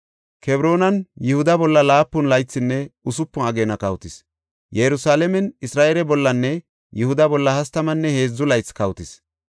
Kebroonan Yihuda bolla laapun laythinne usupun ageena kawotis; Yerusalaamen Isra7eele bollanne Yihuda bolla hastamanne heedzu laythi kawotis.